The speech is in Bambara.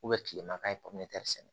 kilema ye pɔnpe sɛnɛ